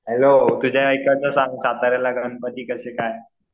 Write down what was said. Hello तुझ्या इकडचे सांग साताऱ्याला गणपती कसे काय?